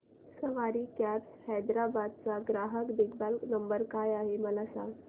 सवारी cabs Hyderabad चा ग्राहक देखभाल नंबर काय आहे मला सांगाना